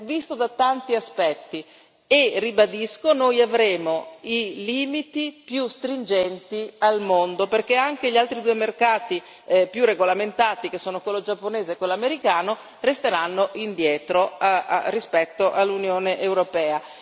sotto tanti punti di vista e, ribadisco, noi avremo i limiti più rigorosi al mondo, perché anche gli altri due mercati più regolamentati, che sono quello giapponese e quello americano, resteranno indietro rispetto all'Unione europea.